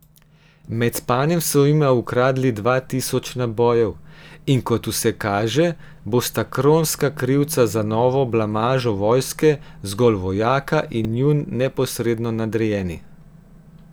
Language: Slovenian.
Med spanjem so jima ukradli dva tisoč nabojev, in kot vse kaže, bosta kronska krivca za novo blamažo vojske zgolj vojaka in njun neposredno nadrejeni.